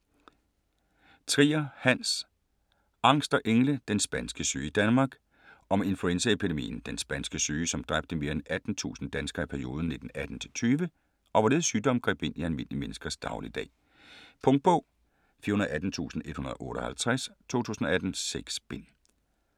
Trier, Hans: Angst og engle: den spanske syge i Danmark Om influenzaepidemien den spanske syge som dræbte mere end 18.000 danskere i perioden 1918-1920, og hvorledes sygdommen greb ind i almindelige menneskers dagligdag. Punktbog 418158 2018. 6 bind.